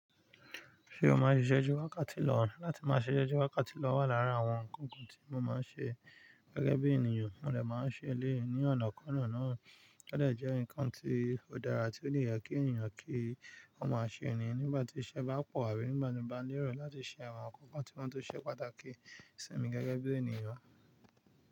Ṣé o máa ń ṣiṣẹ́ ju wákàtí lọ? Láti máa ṣe isé jù wákàtí lọ wà lára àwọn nǹkan kan tí mo máa ń ṣe gẹ́gẹ́ bí ènìyàn, mo dè máa ń ṣe éléyì ní ọ̀nà kan nà náà ó dè jẹ́ ǹkan tí ó dára tí ó dè yẹ kí ènìyàn kí o máa ṣe ni nígbà tí iṣẹ́ bá pọ̀ àbí nígbà tí ó bá nirò láti ṣe àwọn nǹkan kan tí wọ́n tó ṣe pàtàkì sí mi gẹ́gẹ́ bí ènìyàn.